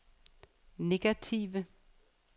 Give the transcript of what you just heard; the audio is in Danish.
negative